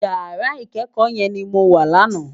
Iyàrá ikèékò yèn ni mó wá làná